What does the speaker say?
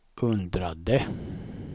undrade